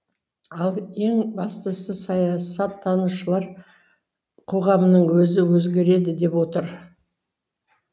ал ең бастысы саясаттанушылар қоғамның өзі өзгереді деп отыр